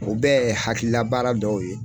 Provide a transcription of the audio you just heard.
O bɛ te hakilila baara dɔw ye.